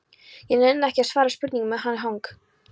Ég nenni ekki að svara spurningum með hann hang